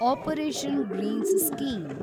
operation greens scheme